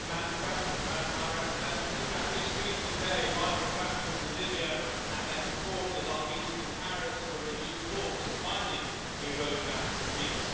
Madam President, Madam High Representative, as we speak today, rival factions in Libya and their supporters are meeting in Paris for renewed talks at finding a road map for peace.